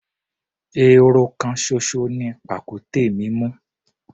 Ehoro kan ṣoṣo ni pàkúté mú.